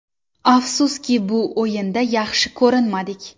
Afsuski, bu o‘yinda yaxshi ko‘rinmadik.